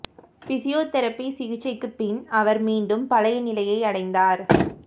physiotherapy சிகிச்சைக்குப் பின் அவர் மீண்டும் பழைய நிலையை அடைந்தார்